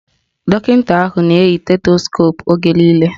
Dọkịta ahụ na-eyi stetoskoopu oge niile